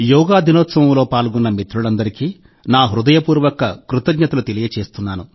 యోగా దినోత్సవంలో పాల్గొన్న మిత్రులందరికీ నా హృదయపూర్వక కృతజ్ఞతలు తెలియజేస్తున్నాను